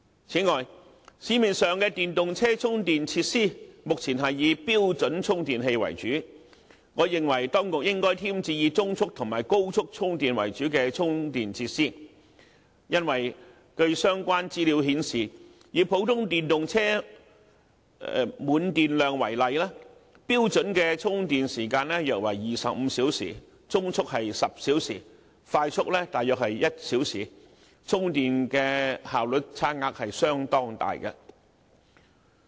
此外，市面上的電動車充電設施目前是以標準充電器為主，我認為當局應該添置以中速和高速充電為主的充電設施，因為據相關資料顯示，以普通電動車電量為例，標準的充電時間約為25小時，中速是10小時，快速大約是1小時，充電的效率差額相當大。